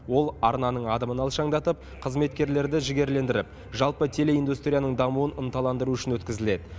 ол арнаның адымын алшаңдатып қызметкерлерді жігерлендіріп жалпы телеиндустрияның дамуын ынталандыру үшін өткізіледі